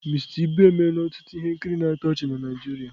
Mister Ibu emela ọtụtụ ihe nkiri na-atọ ọchị na Naịjirịa.